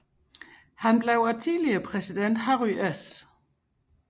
Han blev af tidligere præsident Harry S